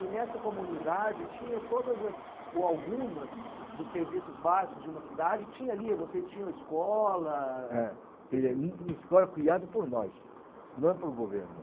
e nessa comunidade tinha todas as, ou algumas, dos serviços básicos de uma cidade, tinha ali, vocês tinham escola... É, eaí uma escola criada por nós, não por governo.